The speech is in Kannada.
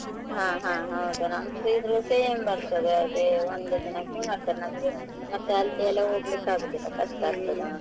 ಹಾ ಹಾ ಹೌದಾ. ನಮ್ same ಬರ್ತದೆ ಅದೇ ಒಂದ್ ದಿನಕ್ಕೆ ಮತ್ತೆ ನಮ್ಗೆ ಮತ್ತೆ ಅಲ್ಲೆಲ್ಲಾ ಹೋಗ್ಲಿಕ್ಕೆ ಆಗುದಿಲ್ಲ ಕಷ್ಟ ಆಗ್ತದೆ.